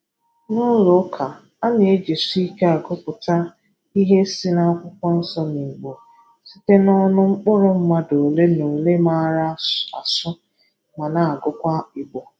N'ụlọ ụka, a na-ejisi ike agụpụta ihe si n'Akwụkwọ Nsọ n'Igbo site n'ọnụ mkpụrụ mmadụ ole na ole maara asụ ma na-agụkwa Igbo.